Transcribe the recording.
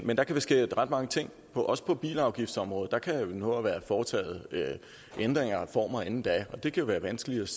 men der kan ske ret mange ting også på bilafgiftsområdet der kan nå at være foretaget ændringer og reformer inden da og det kan være vanskeligt